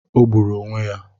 O gburu onwe ya